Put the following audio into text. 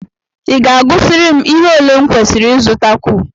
I ga-agụsịrị m ihe ole m kwesịrị ịzụtakwu?